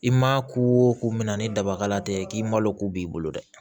I ma ko o ko min na ni dabala tɛ k'i malo ko b'i bolo dɛ